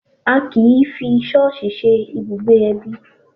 A kì í fi ṣọ́ọ̀ṣì ṣe ibùgbé ẹbí